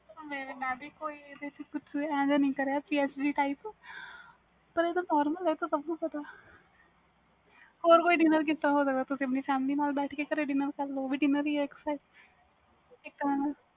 ਏਵੇ ਦਾ ਕੁਛ ਨਹੀਂ ਕਰਿਆ ਪਰ ਆਹ ਤਾ normal ਆ ਆਹ ਤਾ ਸਬ ਨੂੰ ਪਤਾ ਵ ਹੋਰ ਕੋਈ reason ਕਿਵੇਂ ਹੋ ਸਕਦਾ ਤੁਸੀ ਆਪਣੀ ਨਾਲ ਬੈਠ ਕੇ dinner ਕਰ ਲੋ ਉਹ ਵੀ dinner ਹੀ ਇਕ ਹਿਸਾਬ ਦਾ